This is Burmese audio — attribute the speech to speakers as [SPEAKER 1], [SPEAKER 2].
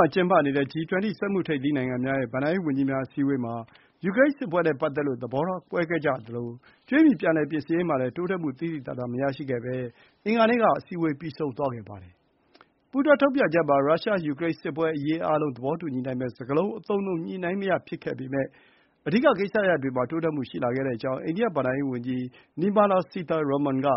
[SPEAKER 1] ှာ ကျင်းပနေတဲ့ G20 စက်မှုထိပ်သီး နိုင်ငံများရဲ့ ဘဏ္ဍာရေးဝန်ကြီးများ အစည်းအဝေးမှာ တိုးတက်မှုတွေ သိသိသာသာမရရှိဘဲ အင်္ဂါနေ့မှာ ပြီးဆုံးခဲ့ပါတယ်။ "ပူးတွဲထုတ်ပြန်ချက်မှာ ရုရှား-ယူကရိန်းစစ်ပွဲအရေး အားလုံးသဘောတူညီနိုင်မယ့် စကားလုံးအသုံးအနှုန်း ညှိနှိုင်းမရဖြစ်ခဲ့ပေမယ့် အဓိကကိစ္စရပ်တွေမှာ တိုးတက်မှုရှိလာခဲ့ကြောင်း” အိန္ဒိယဘဏ္ဍာရေးဝန်ကြီး Nirmala Sitharaman က